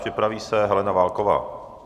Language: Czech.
Připraví se Helena Válková.